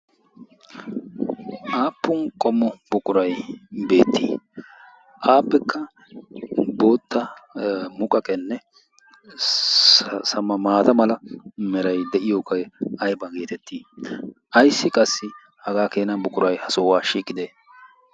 Aappun qommo buqurayi beettii? Appekka bootta muqaqenne maata mala merayi de"iyogee ayba geetettii? Ayssi qassi hagaa keena buqurayi ha sohuwa shiiqidee?